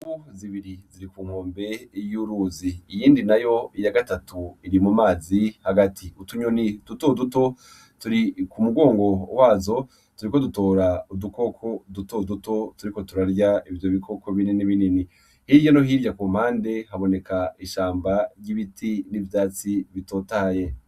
Zibiri ziri ku mwombe y'uruzi iyindi na yo iya gatatu iri mu mazi hagati utunyoni dutoduto turi ku mugongo wazo turiko dutora udukoko dutoduto turiko turarya ivyo bikoko binini binini hirya no hirya ku mpande haboneka ishamba ry'ibiti n'ivyatsi itotaye.